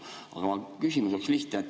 Aga mu küsimus on lihtne.